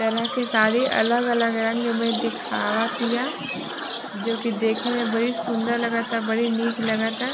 तरह की साड़ी अलग अलग रंग में दिखावतिया जो की देखे में बड़ी सुन्दर लगता बड़ी निक लागता |